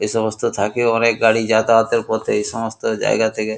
এই সমস্ত থাকে অনেক গাড়ি যাতায়াত এর পথে এই সমস্ত জায়গা থেকে।